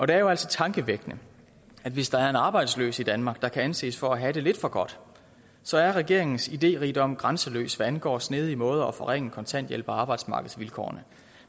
det er jo altså tankevækkende at hvis der er en arbejdsløs i danmark der kan anses for at have det lidt for godt så er regeringens idérigdom grænseløs hvad angår snedige måder at forringe kontanthjælpen og arbejdsmarkedsvilkårene